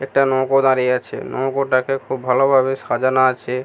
একটা নৌকো দাঁড়িয়ে আছে নৌকোটাকে খুব ভালো ভাবে সাজানো আছে ।